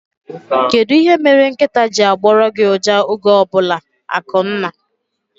Kedụ ihe mere nkịtaa ji agboru gị uja oge ọbụla? Akunna